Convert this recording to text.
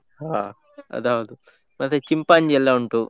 ಹ, ಅದೌದು, ಮತ್ತೆ ಚಿಂಪಾಂಜಿ ಎಲ್ಲ ಉಂಟು.